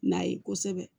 N'a ye kosɛbɛ